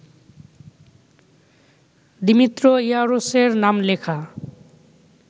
Dimitri ইয়ারোসের নাম লেখা